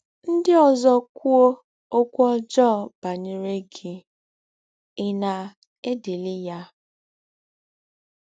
Ndị ọzọ kwụọ ọkwụ ọjọọ banyere gị, ị̀ na - edili ya?